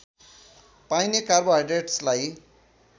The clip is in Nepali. पाइने कार्बोहाइड्रेट्सलाई